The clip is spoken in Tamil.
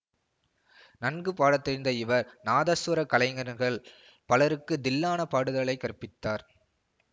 நன்கு பாட தெரிந்த இவர் நாதசுவர கலைஞர்கள் பலருக்கு தில்லானா பாடுதலைக் கற்பித்தார்